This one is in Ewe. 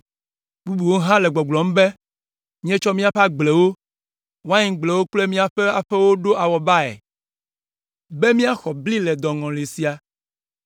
Bubuwo hã le gbɔgblɔm be, “Míetsɔ míaƒe agblewo, waingblewo kple míaƒe aƒewo ɖo awɔbae be míaxɔ bli le dɔŋɔli sia.”